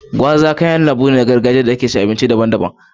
gwaza kayan lambun tushe ne na gargajiya da ake ci a cikin abinci daban-daban.